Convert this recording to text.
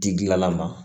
Di gilala ma